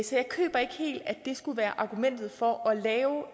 så jeg køber ikke helt at det skulle være argumentet for at lave